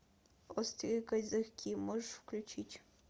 острые козырьки можешь включить